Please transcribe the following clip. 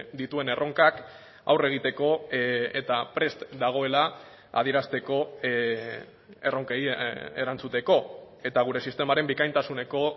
dituen erronkak aurre egiteko eta prest dagoela adierazteko erronkei erantzuteko eta gure sistemaren bikaintasuneko